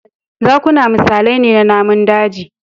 Zakuna misalai ne na namun daji